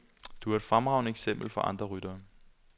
Du er et fremragende eksempel for andre ryttere.